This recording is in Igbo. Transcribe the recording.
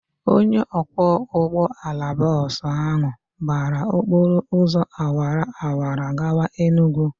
Onye ọkwọ ụgbọala bọọsụ ahụ gbara okpọrọ ụzọ awara awara gawa Enugwu.